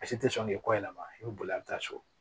Basi te sɔn k'i kɔ yɛlɛma i bi boli a bi taa so